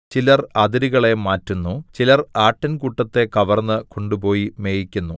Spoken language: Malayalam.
ചിലർ അതിരുകളെ മാറ്റുന്നു ചിലർ ആട്ടിൻകൂട്ടത്തെ കവർന്ന് കൊണ്ടുപോയി മേയ്ക്കുന്നു